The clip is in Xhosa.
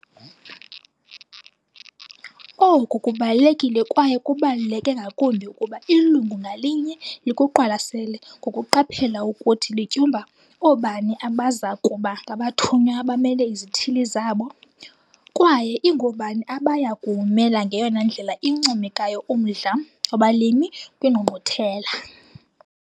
Oku kubalulekile kwaye kubaluleke ngakumbi ukuba ilungu ngalinye likuqwalasele ngokuqaphela ukuthi lityumba oobani abaza kuba ngabathunywa abamele izithili zabo kwaye ingoobani abaya kuwumela ngeyona ndlela incomekayo umdla wabalimi kwiNgqungquthela.